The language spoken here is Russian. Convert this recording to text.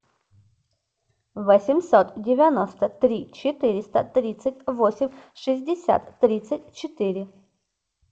восемьсот девяносто три четыреста тридцать восемь шестьдесят тридцать четыре